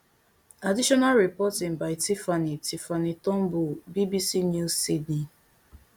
additional reporting by tiffanie tiffanie turnbull bbc news sydney